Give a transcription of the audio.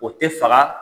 O tɛ faga